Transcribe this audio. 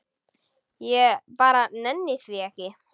Ég bara nenni því ekki.